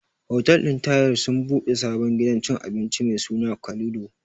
Hotel ɗin Tahir sun ɓude sabon gidan cin abinci mai suna Kalido.